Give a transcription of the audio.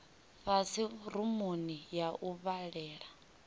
fhasi rumuni ya u vhalela